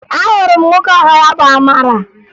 Ahụrụ m nwoke aha ya bụ Amara